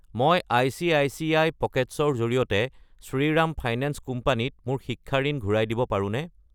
মই ICICI. Pockets ৰ জৰিয়তে শ্ৰীৰাম ফাইনেন্স কোম্পানী ত মোৰ শিক্ষা ঋণ ঘূৰাই দিব পাৰোনে?